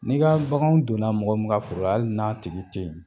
N'i ka baganw donna mɔgɔ min ka foro la, hali n'a tigi tɛ yen.